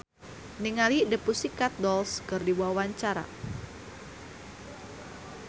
Andra Manihot olohok ningali The Pussycat Dolls keur diwawancara